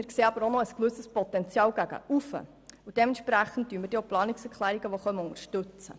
Wir sehen aber auch ein gewisses Potenzial gegen oben, und dementsprechend unterstützen wir auch die Planungserklärungen.